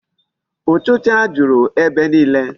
Ụchịcha juru ebe niile?